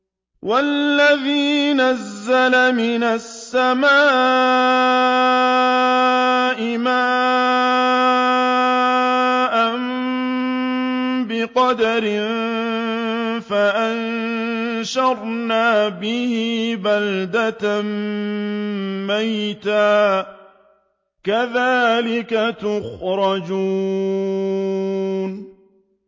وَالَّذِي نَزَّلَ مِنَ السَّمَاءِ مَاءً بِقَدَرٍ فَأَنشَرْنَا بِهِ بَلْدَةً مَّيْتًا ۚ كَذَٰلِكَ تُخْرَجُونَ